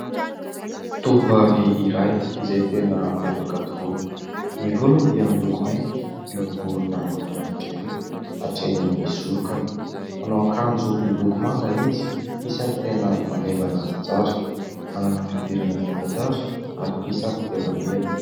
Tovovavy iray izay tena miavaka tokoa. Ny volony dia miloko mainty miorongorona mahafinaritra ery hatra eny amin'ny sorokany. Manao akanjo miloko manga izy, isan'ny tena maneva anazy tsara. Manana fiodirana zarazara ary isan'ny tena meva.